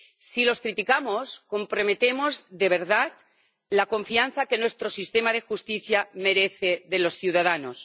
Si los criticamos, comprometemos de verdad la confianza que nuestro sistema de justicia merece de los ciudadanos.